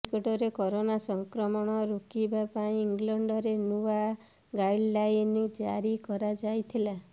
ନିକଟରେ କରୋନା ସଂକ୍ରମଣ ରୋକିବା ପାଇଁ ଇଂଲଣ୍ଡରେ ନୂଆ ଗାଇଡଲାଇନ୍ ଜାରି କରାଯାଇଥିଲା